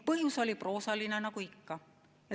Põhjus oli proosaline nagu ikka.